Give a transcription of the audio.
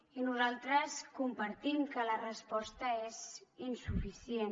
i nosaltres compartim que la resposta és insuficient